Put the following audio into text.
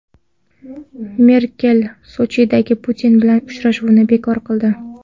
Merkel Sochidagi Putin bilan uchrashuvni bekor qildi.